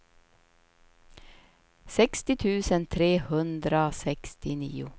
sextio tusen trehundrasextionio